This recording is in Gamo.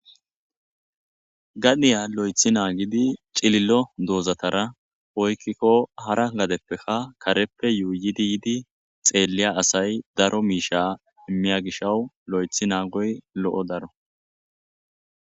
Ganiya lo'ethi naagidi cililo doozatara oykkikko hara gadeppekka kareppe yuu yidi yidi xeeliya asay daro miisha immiya gishawu lo7ethi naagoy lo7o daro.